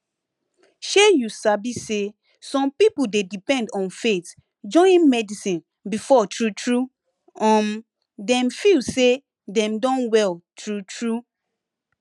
shey you sabi say some pipo dey depend on faith join medicine before true true um dem feel say dem don well true true